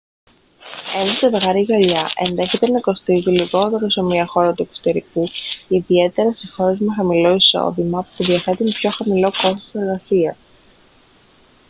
ένα ζευγάρι γυαλιά ενδέχεται να κοστίζει λιγότερο σε μια χώρα του εξωτερικού ιδιαίτερα σε χώρες με χαμηλό εισόδημα που διαθέτουν πιο χαμηλό κόστος εργασίας